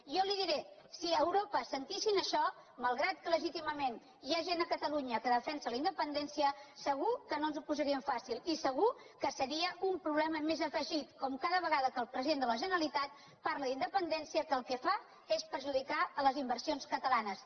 jo li diré si a europa sentissin això malgrat que legítimament hi ha gent a catalunya que defensa la independència segur que no ens ho posa·rien fàcil i segur que seria un problema més a afegir com cada vegada que el president de la generalitat parla d’independència que el que fa és perjudicar les inversions catalanes